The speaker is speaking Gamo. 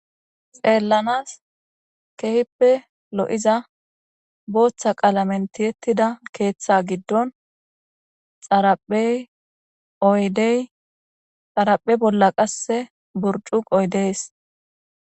xeellanas kehippe lo7iza booththa qaalamenti ettida keeththe giddon xaraphey oydey xaraphe bolla qasse burcukoy dees